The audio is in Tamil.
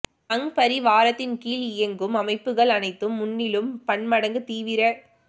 சங் பரி வாரத்தின்கீழ் இயங்கும் அமைப்புகள் அனைத்தும் முன்னிலும் பன்மடங்குத் தீவிர